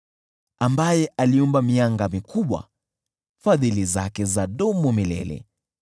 Ambaye aliumba mianga mikubwa, Fadhili zake zadumu milele .